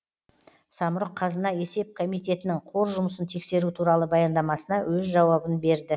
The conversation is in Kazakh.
самрұқ қазына есеп комитетінің қор жұмысын тексеру туралы баяндамасына өз жауабын берді